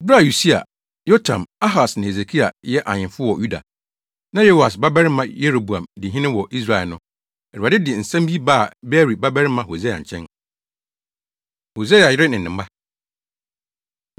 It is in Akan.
Bere a Usia, Yotam, Ahas ne Hesekia yɛ ahemfo wɔ Yuda, na Yoas babarima Yeroboam di hene wɔ Israel no, Awurade de saa nsɛm yi baa Beeri babarima Hosea nkyɛn. Hosea Yere Ne Ne Mma